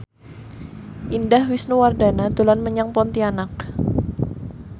Indah Wisnuwardana dolan menyang Pontianak